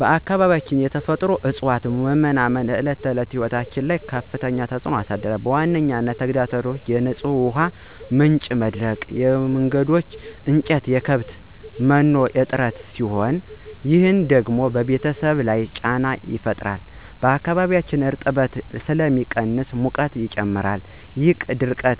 በአካባቢያችን የተፈጥሮ እፅዋት መመናመን በዕለት ተዕለት ሕይወት ላይ ከፍተኛ ተጽዕኖ አሳድሯል። ዋነኛ ተግዳሮቶቹ የንጹህ ውሃ ምንጮች መድረቅ፣ የማገዶ እንጨትና የከብት መኖ እጥረት ሲሆኑ፣ ይህ ደግሞ በቤተሰብ ላይ ጫና ይፈጥራል። በአካባቢውም እርጥበት ስለሚቀንስ ሙቀት ይጨምራል፣ ይህም ድርቅና